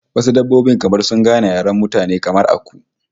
Wasu dabbobin kamar suna gane yaren mutane, kamar aku